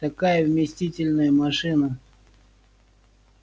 такая вместительная машина